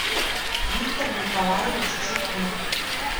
виктор николаевич черных